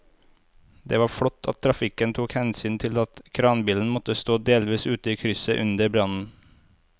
Det var flott at trafikken tok hensyn til at kranbilen måtte stå delvis ute i krysset under brannen.